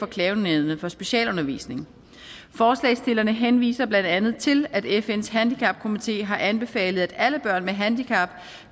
klagenævnet for specialundervisning forslagsstillerne henviser blandt andet til at fns handicapkomité har anbefalet at alle børn med handicap